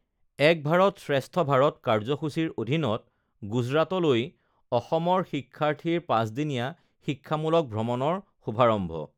এক ভাৰত শ্ৰেষ্ঠ ভাৰত কাৰ্যসূচীৰ অধীনত গুজৰাটলৈ অসমৰ শিক্ষাৰ্থীৰ পাঁচদিনীয়া শিক্ষামূলক ভ্ৰমণৰ শুভাৰম্ভ